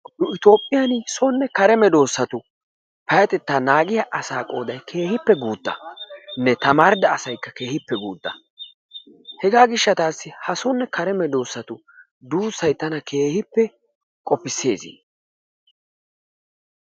Nu toophphiyan sonne kare medoossatu payyatetta naagiya asaa qoodayi keehippe guuttanne tamaarida asaykka keehippe guutta. Hegaa gishshataassi ha sonne kare medoossatu duussayi tana keehippe qofisses.